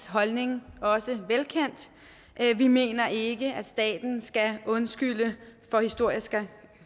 holdning også velkendt vi mener ikke at staten skal undskylde for historiske